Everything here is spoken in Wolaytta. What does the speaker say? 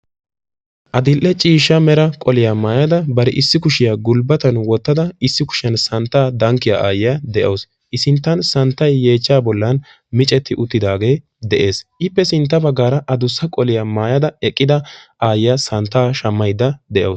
Adil'ee ciishshaa meeraa qooliyaa maayada baarri issi kuushiyaa gulbbattan woottida issi kushiyaan saanttaa dankkiyaa aayiyaa de'awusu. I sinttaan saanttay yeechchaa boollan miiccetti uuttidagee de'ees .Ippe sintta baggaraa addussa qoliyaa maayada eeqidda issi aayiyaa saanttaa shammaydda de'awusu.